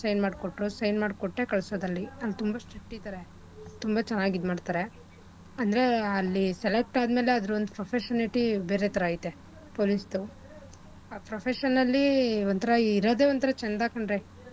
ಮಾಡ್ ಕೊಟ್ರು sign ಮಾಡ್ ಕೊಟ್ಟೆ ಕಳ್ಸೋದು ಅಲ್ಲಿ ಅಲ್ಲಿ ತುಂಬಾ strict ಇದಾರೆ ತುಂಬಾ ಚೆನ್ನಾಗ್ ಇದ್ ಮಾಡ್ತಾರೇ ಅಂದ್ರೆ ಅಲ್ಲಿ select ಆದ್ಮೇಲೆ ಅದ್ರ ಒಂದ್ professionality ಬೇರೆ ತರ ಐತೆ police ದು ಆ profession ಅಲ್ಲಿ ಒಂತರ ಇರೋದೆ ಒಂತರ ಚೆಂದ ಕಣ್ರೀ.